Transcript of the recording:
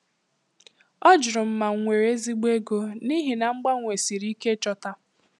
Ọ jụrụ ma m nwere ezigbo ego, n'ihi na mgbanwe siri ike ịchọta.